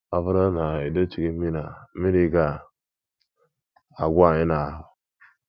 Ọ bụrụ na e dochighị mmiri a, mmiri ga - agwụ anyị n’ahụ́.